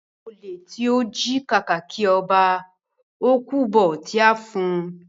Olè tọ jí kàkàkí ọba, o kú bó tí a fọn.